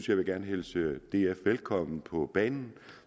jeg vil gerne hilse df velkommen på banen